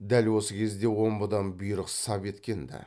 дәл осы кезде омбыдан бұйрық сап еткен ді